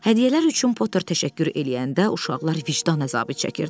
Hədiyyələr üçün Potter təşəkkür eləyəndə isə uşaqlar vicdan əzabı çəkirdilər.